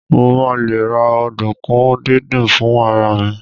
mo ma le ra ọdunkun didin fún ara mi